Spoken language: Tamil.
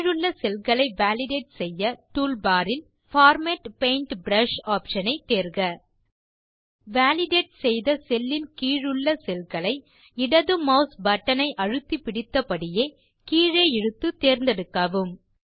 கீழுள்ள செல்களை வாலிடேட் செய்ய டூல்பார் இல் பார்மேட் பெயிண்ட் ப்ரஷ் ஆப்ஷன் ஐ தேர்க வாலிடேட் செய்த செல் இன் கீழுள்ள செல் களை இடது மாஸ் பட்டன் ஐ அழுத்திப்பிடித்தபடியே கீழே இழுத்து தேர்ந்தெடுக்கவும்